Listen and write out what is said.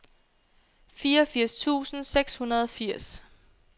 fireogfirs tusind seks hundrede og firs